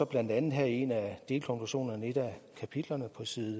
blandt andet her i en af delkonklusionerne i et af kapitlerne